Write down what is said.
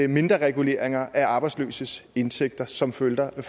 mindre reguleringer af arbejdsløses indtægter som følger af